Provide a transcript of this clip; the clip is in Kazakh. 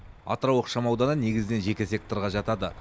атырау ықшам ауданы негізінен жеке секторға жатады